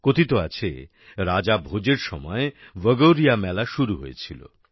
কথিত আছে রাজা ভোজের সময় ভগোরিয়া মেলা শুরু হয়েছিল